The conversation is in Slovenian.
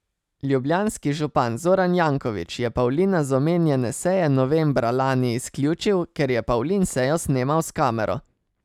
Ljubljanski župan Zoran Janković je Pavlina z omenjene seje novembra lani izključil, ker je Pavlin sejo snemal s kamero.